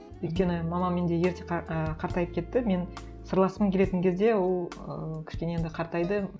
өйткені мама менде ерте і қартайып кетті мен сырласқым келетін кезде ол ыыы кішкене енді қартайды